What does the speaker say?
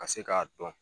Ka se k'a dɔn